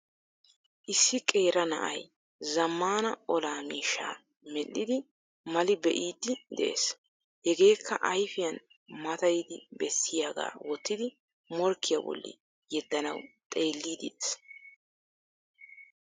Issi qeera na'ay zammaana olaa miishshaa medhdhidi mali be'iiddi de'ees. Hegeekka ayfiyan matayidi bessiyagaa wottidi morkkiya bolli yeddanawu xeelliddi de'ees.